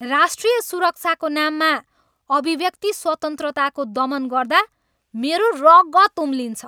राष्ट्रिय सुरक्षाको नाममा अभिव्यक्ति स्वतन्त्रताको दमन गर्दा मेरो रगत उम्लिन्छ।